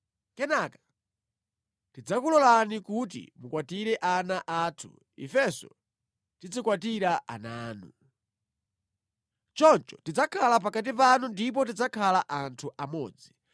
Kenaka tidzakulolani kuti mukwatire ana athu, ifenso tizikwatira ana anu. Choncho tidzakhala pakati panu ndipo tidzakhala anthu amodzi.